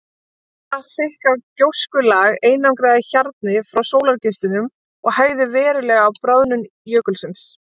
Þetta þykka gjóskulag einangraði hjarnið frá sólargeislunum og hægði verulega á bráðnun jökulsins.